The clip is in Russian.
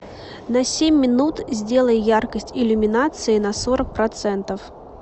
на семь минут сделай яркость иллюминации на сорок процентов